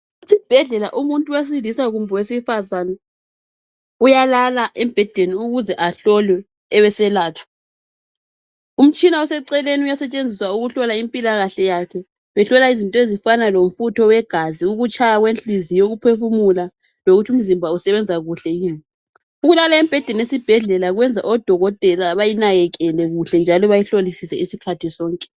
Esibhedlela umuntu wesilisa kumbe owesifazana uyalala embhedeni ehlolwa abeselatshwa. Umtshina oseceleni uyasetshenziswa ukuhlola impilakahle yakhe kuhlolwa izinto ezifana lomfutho wegazi ,ukutshaya kwenhliziyo, ukuphefumula lokuthi umzìmba usebenza kuhle yini. Ukulala embhedeni esibhedlela kwenza oDokotela bayinakekele kuhle njalo bayihlolisise isikhathi sonke.